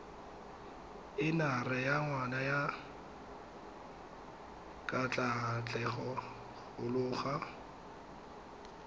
enara wa ngwana wa katlaatlegoloago